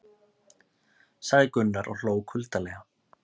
sagði Gunnar og hló kuldalega.